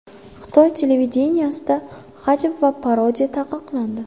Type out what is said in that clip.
Xitoy televideniyesida hajv va parodiya taqiqlandi.